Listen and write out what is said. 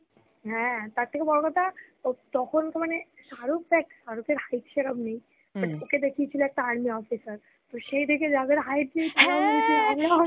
হ্যা, তার থেকে বড় কথা, ওর তখনতো মানে, শারুখ দেখ, শারুখের height সেরম নেই but ওকে দেখিয়েছিল একটা army officer, তো সেই দেখে যাদের height নেই তারাও দেখি আর্মি অফিসর